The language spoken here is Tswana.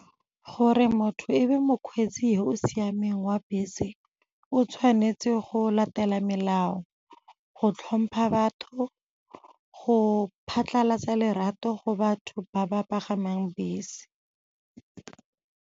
Gore motho e be mokgweetsi yo o siameng wa bese, o tshwanetse go latela melao, go tlhompha batho, go phatlhalatsa lerato go batho ba ba pagamang bese.